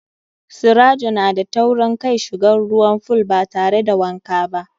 Sirajo na da taurin kai shigan ruwan fool batare da wanka ba.